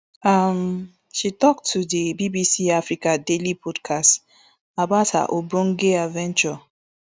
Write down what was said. um she tok to di bbc africa daily podcast about her ogbonge adventure